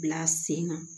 Bila sen kan